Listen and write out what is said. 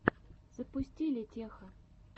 запусти летеха